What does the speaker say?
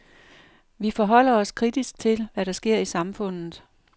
Vi forholder os kritisk til, hvad der sker i samfundet.